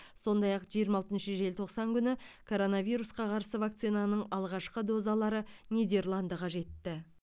сондай ақ жиырма алтыншы желтоқсан күні коронавирусқа қарсы вакцинаның алғашқы дозалары нидерландыға жетті